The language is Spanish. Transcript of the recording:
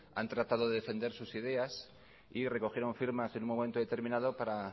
han tratado de defender sus ideas y recogieron firmas en un momento determinado para